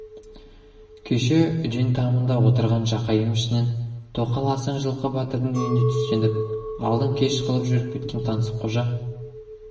кеше үден тамында отырған жақайым ішінен тоқал асан жылқы батырдың үйінде түстеніп алдын кеш қылып жүріп кеткен таңсыққожа